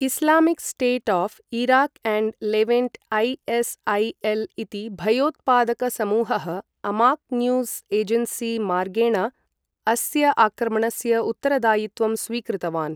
Islamic state of Iraq and Levant I S I L इति भयोत्पादकसमूहः Amaq news agency मार्गेण अस्य आक्रमणस्य उत्तरदायित्वं स्वीकृतवान्।